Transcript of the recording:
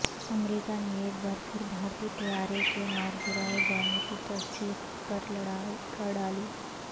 امریکہ نے ایک بار پھر بھارتی طیارے کے مارگرائے جانےکی تصدیق کر ڈالی